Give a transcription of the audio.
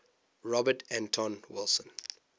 robert anton wilson